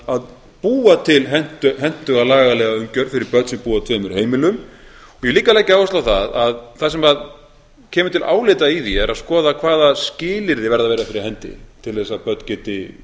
að búa til hentuga lagalega umgjörð fyrir börn sem búa á tveimur heimilum og ég vil líka leggja áherslu á að það sem kemur til álita í því er að skoða hvaða skilyrði verða að vera fyrir hendi til þess að börn geti